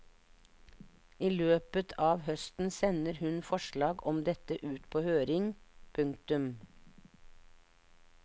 I løpet av høsten sender hun forslag om dette ut på høring. punktum